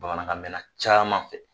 Bamanankan mɛnna caman fɛ